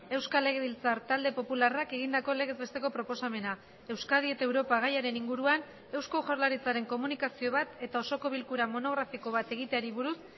euskal legebiltzar talde popularrak egindako legez besteko proposamena euskadi eta europa gaiaren inguruan eusko jaurlaritzaren komunikazio bat eta osoko bilkura monografiko bat egiteari buruz